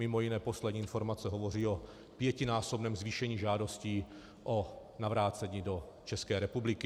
Mimo jiné poslední informace hovoří o pětinásobném zvýšení žádostí o navrácení do České republiky.